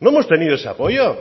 no hemos tenido ese apoyo